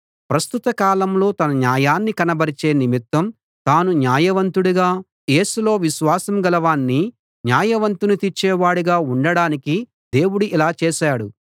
ప్రస్తుత కాలంలో తన న్యాయాన్ని కనబరిచే నిమిత్తం తాను న్యాయవంతుడుగా యేసులో విశ్వాసంగల వాణ్ణి న్యాయవంతుని తీర్చే వాడుగా ఉండడానికి దేవుడు ఇలా చేశాడు